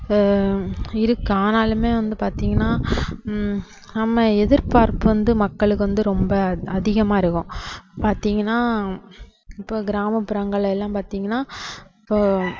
ஆஹ் இருக்கு ஆனாலுமே வந்து பாத்தீங்கன்னா ஹம் நம்ம எதிர்பார்ப்பு வந்து மக்களுக்கு வந்து ரொம்ப அதிகமா இருக்கும் பாத்தீங்கன்னா இப்போ கிராமப்புறங்கள்ல எல்லாம் பாத்தீங்கன்னா இப்போ